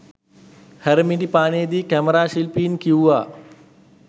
හැරමිටිපානේ දී කැමරා ශිල්පීන් කිව්වා